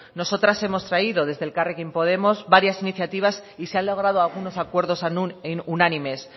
nosotras hemos traído desde elkarrekin podemos varias iniciativas y se han logrado algunos acuerdos unánimes